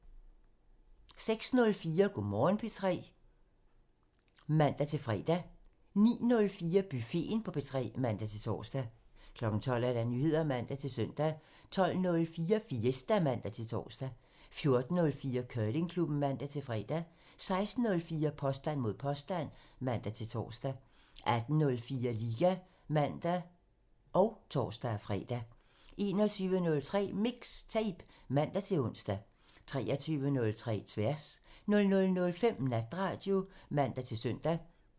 06:04: Go' Morgen P3 (man-fre) 09:04: Buffeten på P3 (man-tor) 12:00: Nyheder (man-søn) 12:04: Fiesta (man-tor) 14:04: Curlingklubben (man-fre) 16:04: Påstand mod påstand (man-tor) 18:04: Liga (man og tor-fre) 21:03: MIXTAPE (man-ons) 23:03: Tværs (man) 00:05: Natradio (man-søn)